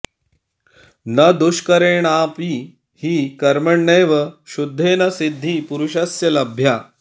न दुष्करेणापि हि कर्मणैव शुद्धेन सिद्धिः पुरुषस्य लभ्या